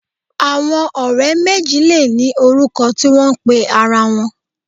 Àwọn ọ̀rẹ́ méjì lè ní orúkọ tí wọ́n ń pe ara wọn